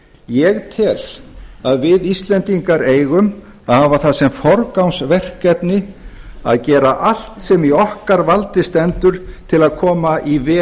ég tel að við íslendingar eigum að hafa það sem forgangsverkefni að gera allt sem í okkar valdi stendur til að koma í